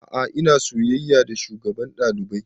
A'a ina soyayya da shugaban ɗalibai